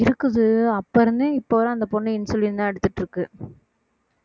இருக்குது அப்ப இருந்தே இப்ப வரை அந்த பொண்ணு insulin தான் எடுத்துட்டு இருக்கு